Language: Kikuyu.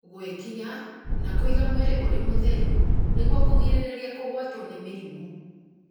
gwĩkinya, na kũiga mwĩrĩ ũrĩ mũtheru nĩguo kũgirĩrĩria kũgwatwo nĩ mĩrimũ.